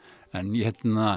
en ég hef